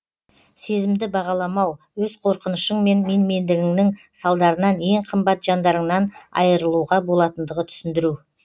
сезімді бағаламау өз қорқынышың мен менмендігіңнің салдарынан ең қымбат жандарыңнан айырылуға болатындығы түсіндіру